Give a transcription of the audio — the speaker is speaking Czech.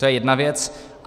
To je jedna věc.